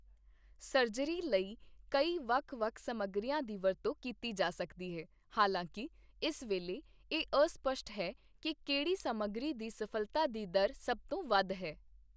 Surgery ਲਈ ਕਈ ਵੱਖ-ਵੱਖ ਸਮੱਗਰੀਆਂ ਦੀ ਵਰਤੋਂ ਕੀਤੀ ਜਾ ਸਕਦੀ ਹੈ, ਹਾਲਾਂਕਿ ਇਸ ਵੇਲੇ ਇਹ ਅਸਪਸ਼ਟ ਹੈ ਕਿ ਕਿਹੜੀ ਸਮੱਗਰੀ ਦੀ ਸਫ਼ਲਤਾ ਦੀ ਦਰ ਸਭ ਤੋਂ ਵੱਧ ਹੈ।